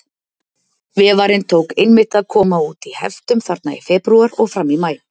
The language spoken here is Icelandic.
Vefarinn tók einmitt að koma út í heftum þarna í febrúar og fram í maí.